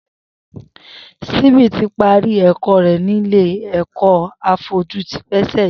Simbi ti pàrí ẹkọ rè nilé ẹkọ áfọ̀jù ti pásẹ̀lí